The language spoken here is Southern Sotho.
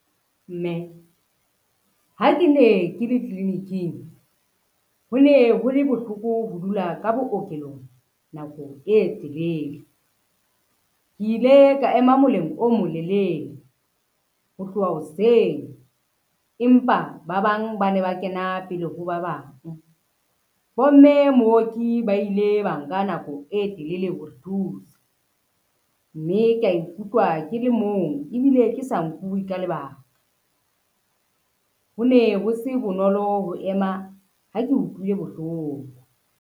Mme, ha ke ne ke le tliliniking, ho ne ho le bohloko ho dula ka bookelong nako e telele. Ke ile ka ema moleng o molele ho tloha hoseng, empa ba bang ba ne ba kena pele ho ba bang. Bomme mooki ba ile ba nka nako e telele ho re thusa, mme ka ikutlwa ke le mong ebile ke sa nkuwe ka lebaka, ho ne ho se bonolo ho ema ha ke utlwile bohloko.